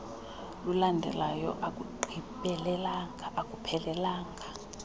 lulandelayo alugqibelelanga aluphelelanga